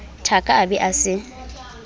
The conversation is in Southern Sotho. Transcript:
thaka a be a se